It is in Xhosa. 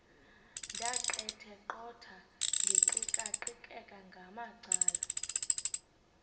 ndaqetheqotha ndiqikaqikeka ngamacala